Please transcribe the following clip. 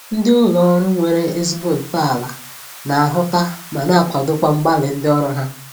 Ndị ụlọ ọrụ nwere ezigbo ntọala na-ahụta ma na-akwadokwa mgbalị ndị ọrụ ha